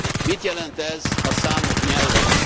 Mit jelent ez a számok nyelvén?